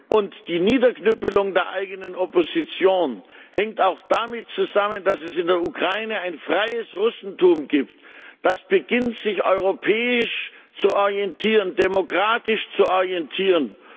Und die Niederknüppelung der eigenen Opposition hängt auch damit zusammen, dass es in der Ukraine ein freies Russentum gibt, das beginnt, sich europäisch, sich demokratisch zu orientieren.